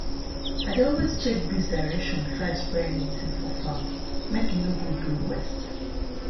i dey always check breeze direction before i spray anything for farm make e no go blow waste.